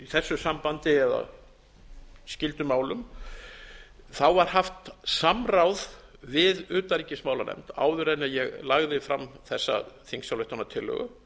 þessu sambandi eða skyldum málum var haft samráð við utanríkismálanefnd áður en ég lagði fram þessa þingsályktunartillögu